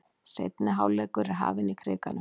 Seinni hálfleikur er hafinn í Krikanum